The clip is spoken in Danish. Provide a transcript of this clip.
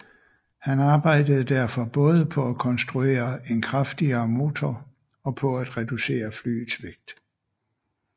Han arbejdede derfor både på at konstruere en kraftigere motor og på at reducere flyets vægt